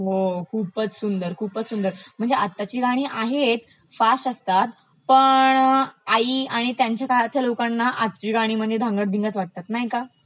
हो खूपचं सुंदर, खूपचं सुंदर, म्हणजे आताची गाणी आहेत, फास्ट असतात पण आई आणि त्यांच्या काळातील लोकांना आजची गाणी म्हणजे धांगडधिंगाच वाटतात नाही का